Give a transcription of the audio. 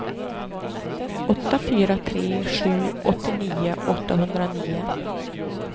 åtta fyra tre sju åttionio åttahundranio